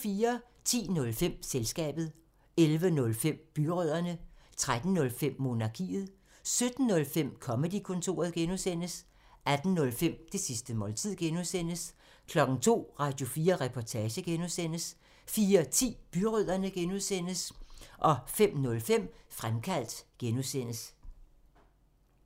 10:05: Selskabet 11:05: Byrødderne 13:05: Monarkiet 17:05: Comedy-kontoret (G) 18:05: Det sidste måltid (G) 02:00: Radio4 Reportage (G) 04:10: Byrødderne (G) 05:05: Fremkaldt (G)